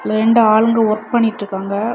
ரெண்டு ஆளுங்க வொர்க் பண்ணிட்டிருக்காங்க.